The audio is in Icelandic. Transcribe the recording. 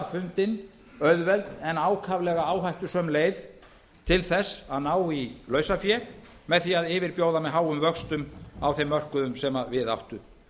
fundin auðveld en ákaflega áhættusöm leið til að ná í lausafé með því að yfirbjóða með háum vöxtum á þeim mörkuðum sem við áttu